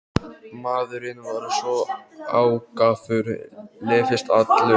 Maðurinn var svo ákafur, lyftist allur.